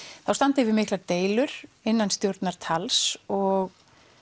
þá standa yfir miklar deilur innan stjórnar tals og